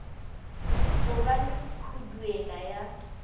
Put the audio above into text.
go ba le khuduela ya